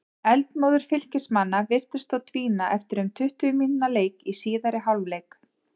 Eldmóður Fylkismanna virtist þó dvína eftir um tuttugu mínútna leik í síðari hálfleik.